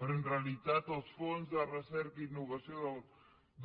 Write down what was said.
però en realitat els fons de recerca i innovació